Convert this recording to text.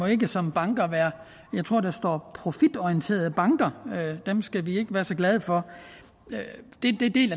ikke som bank må være jeg tror at der står profitorienterede banker dem skal vi ikke være så glade for